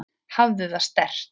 Hafðu það sterkt.